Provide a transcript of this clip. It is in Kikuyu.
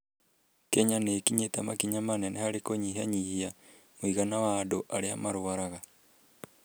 Kenya nĩ ĩkinyĩte makinya manene harĩ kũnyihanyihia mũigana wa andũ arĩa marwaraga.